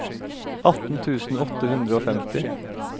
atten tusen åtte hundre og femti